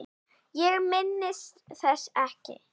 Ég minnist þess ekki.